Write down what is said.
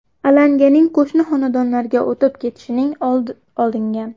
Alanganing qo‘shni xonadonlarga o‘tib ketishining oldi olingan.